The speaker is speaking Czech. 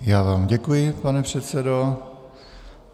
Já vám děkuji, pane předsedo.